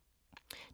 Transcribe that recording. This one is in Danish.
DR1